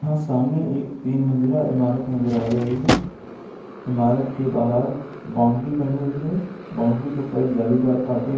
सामने एक तीन मंजिला ईमारत नजर आ रही है। ईमारत के बाहर बाउंड्री बनी हुई है। बाउंड्री के ऊपर जालीदार कांटे----